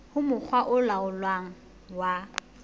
ho mokga o laolang wa